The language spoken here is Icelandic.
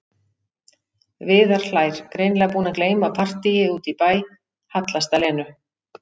Viðar hlær, greinilega búinn að gleyma partíi úti í bæ, hallast að Lenu.